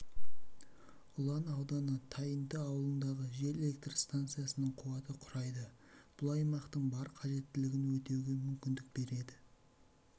ұлан ауданы тайынты ауылындағы жел электр станциясының қуаты құрайды бұл аймақтың бар қажеттілігін өтеуге мүмкіндік береді